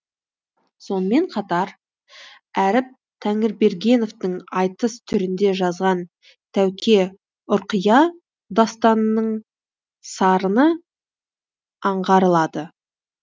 сонымен қатар әріп тәңірбергеновтің айтыс түрінде жазған тәуке ұрқия дастанының сарыны аңғарылады